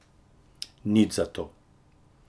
Nič za to!